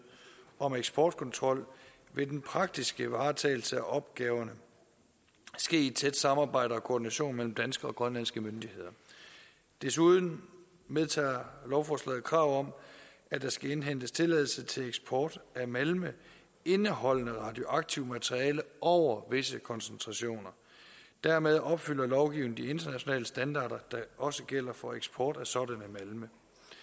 om eksportkontrol vil den praktiske varetagelse af opgaverne ske i et tæt samarbejde og koordination mellem danske og grønlandske myndigheder desuden medtager lovforslaget et krav om at der skal indhentes tilladelse til eksport af malme indeholdende radioaktivt materiale over visse koncentrationer dermed opfylder lovgivningen de internationale standarder der også gælder for eksport af sådanne malme